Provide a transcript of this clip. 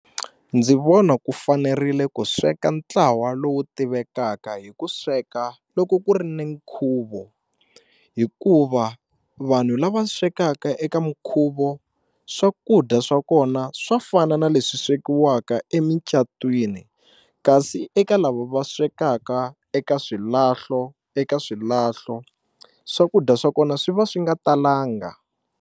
Ndzi vona ku fanerile ku sweka ntlawa lowu tivekaka hi ku sweka loko ku ri ni nkhuvo hikuva vanhu lava swekaka eka minkhuvo swakudya swa kona swa fana na leswi swekiwaka emicatwini kasi eka lava va swekaka eka swilahlo eka swilahlo swakudya swa kona swi va swi nga talanga.